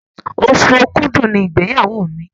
Oṣù Òkúdu ní igbeyawo mí.